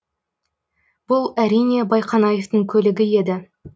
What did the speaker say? бұл әрине байқанаевтың көлігі еді